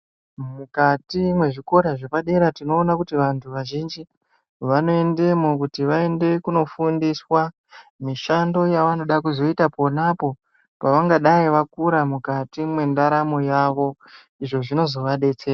Mukati mwezvikora zvepadera tinoona kuti vantu vazhinji vanoendamo kuti vende kundofundiswa mishando yavanoda kuzoita ponapo pavangadai vakura mukati mwendaramo yavo izvo zvinozovadetsera.